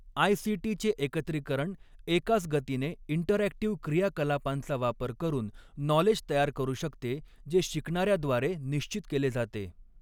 ICT चे एकत्रीकरण एकाच गतीने इंटरऍक्टिव्ह क्रियाकलापांचा वापर करून नॉलेज तयार करू शकते जे शिकणाऱ्याद्वारे निश्चित केले जाते.